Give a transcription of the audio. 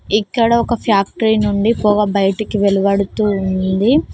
ఇక్కడ ఒక ఫ్యాక్టరీ నుండి పొగ బయటికి వెలువాడుతూ ఉంది.